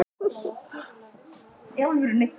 Við munum verða betri.